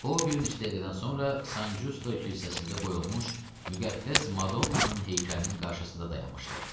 O bir neçə dəqiqədən sonra San Giusto kilsəsində qoyulmuş müqəddəs Madonnanın heykəlinin qarşısında dayanmışdı.